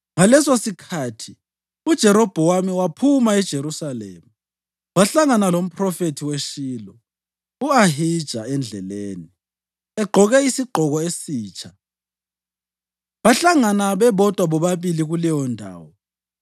Ngalesosikhathi uJerobhowamu waphuma eJerusalema, wahlangana lomphrofethi weShilo u-Ahija endleleni, egqoke isigqoko esitsha. Bahlangana bebodwa bobabili kuleyondawo,